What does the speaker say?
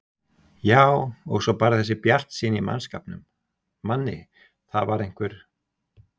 Já og svo bara þessi bjartsýni í mannskapnum, Manni, það var einhver